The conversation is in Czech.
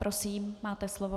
Prosím, máte slovo.